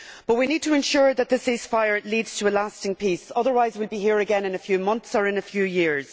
But we need to ensure that the ceasefire leads to a lasting peace, otherwise we will be here again in a few months or in a few years.